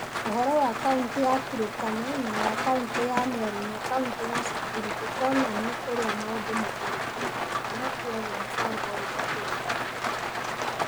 Ũhoro wa Kaunti ya Turkana na wa Kaunti ya Meru na Kaunti ya Samburu, ndũkonania ũrĩa maũndũ matariĩ Turkana, na kwoguo mũbango ũyũ nĩ ũragarũrũka.